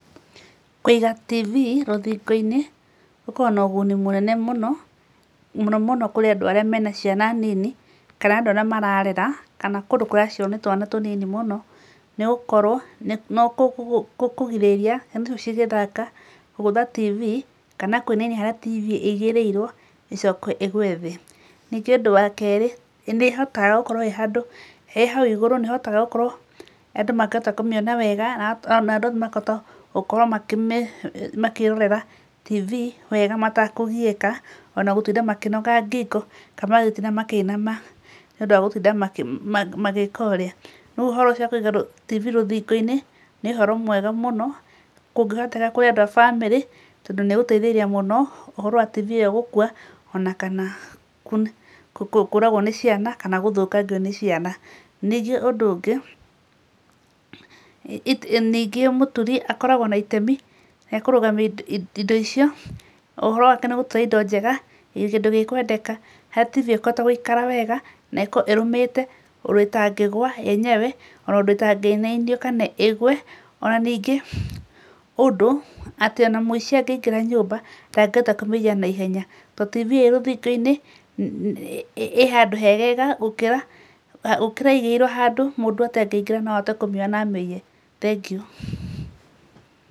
Kũiga TV rũthingo-inĩ gũkoragwo na ũguni mũnene mũno, mũno mũno kurĩ andũ arĩa mena ciana nini, kana andũ arĩa mararera, kana kũndũ kũracerwo ni twana tunini mũno, nĩ gũkorwo nĩ gũkũgirĩrĩria ciana icio cigĩthaka kũgũtha TV, kana kũinainia harĩa TV ĩigĩrĩirwo ĩcoke ĩgwe thĩ. Ningĩ ũndũ wa kerĩ, nĩ ĩhotaga gũkorwo ĩĩ handũ, ĩĩ hau igũrũ nĩĩhotaga gũkorwo andũ makĩhota kũmĩona wega, na andũ othe makahota gũkorwo makĩmĩĩrorera TV wega matakũgiĩka, ona gũtinda makĩnoga ngingo, kana gũtinda makĩinama, nĩ ũndũ wa gũtinda magĩka ũrĩa. Rĩu ũhoro ũcio wa kũiga TV rũthingo-inĩ nĩ ũhoro mwega mũno kũngĩhoteka kurĩ andũ a bamĩrĩ tondũ nĩĩgũteithĩrĩria mũno ũhoro wa TV ĩyo gũkwa ona kana kũragwo nĩ ciana, kana gũthũkangio nĩ ciana. Ningĩ ũndũ ũngĩ, ningĩ mũturi akoragwo na itemi rĩa kũrũgamia indo icio, ũhoro wake nĩ gũtura indo njega, kĩndũ gĩkwendeka, harĩ TV ĩkũhota gũikara wega na ĩkorwo ĩrũmĩte ũndũ ĩtangĩgwa yenyewe, ona ũndũ ĩtangĩinainio kana ĩgwe, ona ningĩ ũndũ atĩ ona mũici angĩingĩra nyũmba ndangĩhota kũmĩiya na ihenya. Tondũ TV ĩĩ rũthingo-inĩ ĩĩ handũ hegega gũkĩra ĩigĩrĩirwo handũ mũndũ atangĩingĩra na ahote kũmĩoya na amĩiye. Thengiũ